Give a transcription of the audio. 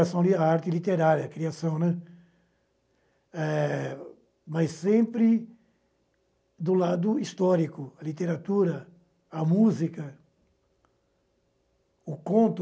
a criação a arte literária, a criação, né, eh mas sempre do lado histórico, a literatura, a música, o conto.